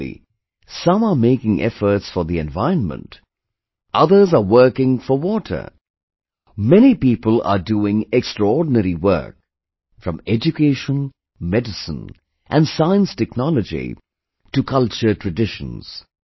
Similarly, some are making efforts for the environment, others are working for water; many people are doing extraordinary work... from education, medicine and science technology to culturetraditions